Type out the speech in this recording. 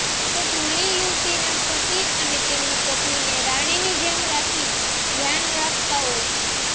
તો ઘણી યુવતીના પતિ પણ તેની પત્નીને રાણીની જેમ રાખી ધ્યાન રાખતા હોય છે